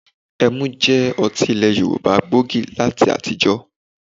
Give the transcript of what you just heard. Ẹmu jẹ́ ọtí ilẹ̀ Yorùbá gbòógì láyé àtijọ́